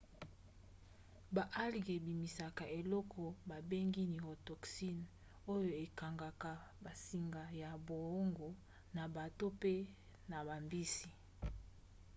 baalgues ebimisaka eloko babengi neurotoxine oyo ekangaka bansinga ya boongo na bato mpe na bambisi